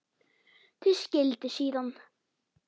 Þau skildu síðan.